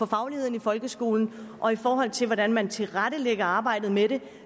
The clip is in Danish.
fagligheden i folkeskolen og i forhold til hvordan man tilrettelægger arbejdet med